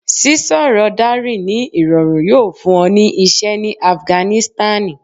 sísọrọ Dari ni irọrun yoo fun ọ ni iṣẹ ni Afiganisitani